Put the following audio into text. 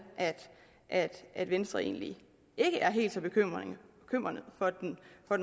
at at venstre egentlig ikke er helt så bekymret for den